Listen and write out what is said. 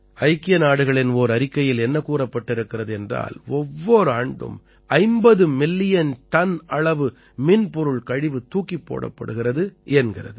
ஐக்கிய நாடுகளின் ஓர் அறிக்கையில் என்ன கூறப்பட்டிருக்கிறது என்றால் ஒவ்வோர் ஆண்டும் 50 மில்லியன் டன் அளவு மின்பொருள் கழிவு தூக்கிப் போடப்படுகிறது என்கிறது